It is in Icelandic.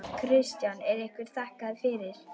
Kristján: Er ykkur þakkað fyrir?